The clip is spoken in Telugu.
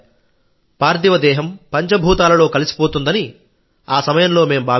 పార్థివ దేహంపంచభూతాలలో కలిసిపోతుందని ఆ సమయంలో మేం భావించాం